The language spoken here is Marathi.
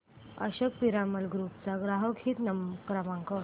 अशोक पिरामल ग्रुप चा ग्राहक हित क्रमांक